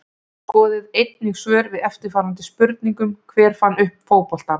Skoðið einnig svör við eftirfarandi spurningum Hver fann upp fótboltann?